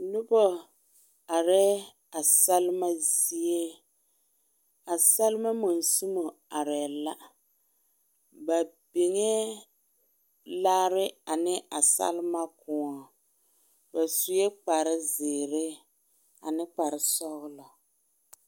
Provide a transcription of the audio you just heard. Noba areɛ a salima zie a salima mosumɔ areɛ la ba beŋ laare ane a salima kõɔ ba suɛ kpare zeɛre ane kpare soɔlɔ.